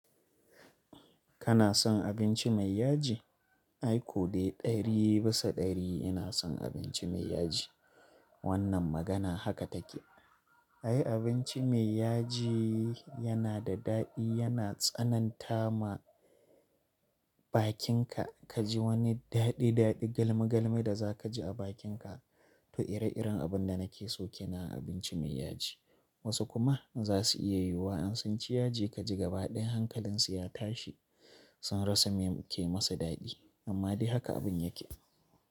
Kana son abinci mai yaji? Ai ko dai ɗari bisa ɗari ina son abinci mai yaji. Wannan magana haka take. Ai abinci mai yaji yana da daɗi, yana tsananta ma bakinka, kaji wani daɗi-daɗi, galmi-galmi da za kaji a bakinka. To ire-iren abun da nake soke na abinci mai yaji. Wasu kuma za su iya yiwuwa in ci yaji ka ji gabaɗayan hankalinsu ya tashi, sun rasa me ke masu daɗi. Amma dai haka abun yake.